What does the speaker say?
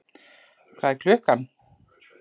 Hvað er klukkan?